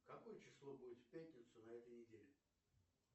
какое число будет в пятницу на этой неделе